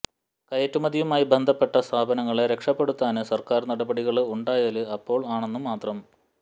കയറ്റുമതിയുമായി ബന്ധപ്പെട്ട സ്ഥാപനങ്ങളെ രക്ഷപ്പെടുത്താന് സര്ക്കാര് നടപടികള് ഉണ്ടായാല് അപ്പോള് ആണെന്നു മാത്രം